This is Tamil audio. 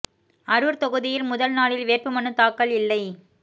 அரூர் தொகுதியில் முதல் நாளில் வேட்பு மனு தாக்கல் இல்லை